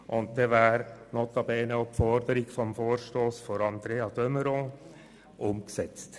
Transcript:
Und dann wäre notabene auch die Forderung des Vorstosses von Andrea DeMeuron umgesetzt.